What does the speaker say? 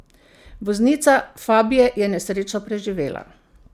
Voznica fabie je nesrečo preživela.